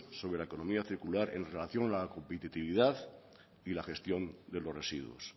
sobre la economía circular en relación a la competitividad y la gestión de los residuos